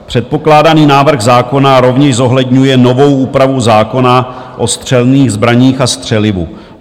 Předpokládaný návrh zákona rovněž zohledňuje novou úpravu zákona o střelných zbraních a střelivu.